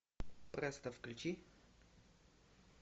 престо включи